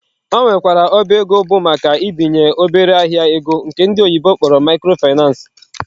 Ọ nwekwara ọba ego bụ maka ibinyendị obere ahịa ego nke ndi oyibo kpọrọ microfinace